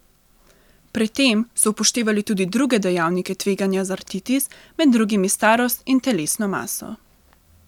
Pri tem so upoštevali tudi druge dejavnike tveganja za artritis, med drugimi starost in telesno maso.